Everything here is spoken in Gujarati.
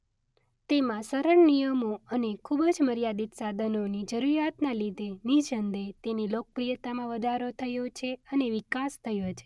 તેમા સરળ નિયમો અને ખુબ જ મર્યાદિત સાધનોની જરૂરીયાતના લીધે નિસંદેહ તેની લોકપ્રિયતામાં વધારો થયો છે અને વિકાસ થયો છે.